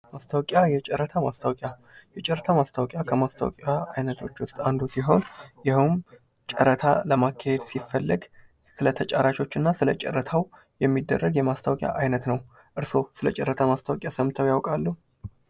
ማስታወቂያ፦ የጨረታ ማስተቀቂያ ፦ የጨረታ ማስተቀቂያ ከማስታወቂያ አይነቶች ውስጥ አንዱ ሲሆን ይሄውም ጨረታ ለማካሄድ ሲፈለግ ስለጠጫራቾች እና ስለጫራታው የሚደረግ የማስታወቂያ አይነት ነው። እርስዎ ስለ ጨረታ ማስታወቂያ ሰምተው ያቃሉ?